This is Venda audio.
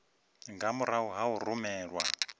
nga murahu ha u rumelwa